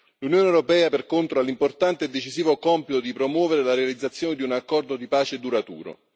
L'Unione europea, per contro, ha l'importante e decisivo compito di promuovere la realizzazione di un accordo di pace duraturo.